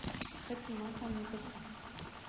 фатима хамитов